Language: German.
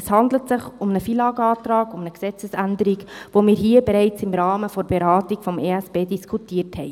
Es handelt sich um einen FILAG-Antrag, um eine Gesetzesänderung, die wir hier bereits im Rahmen der Beratung des EP diskutiert hatten.